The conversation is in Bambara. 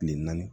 Kile naani